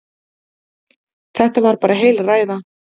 Þetta var bara heil ræða.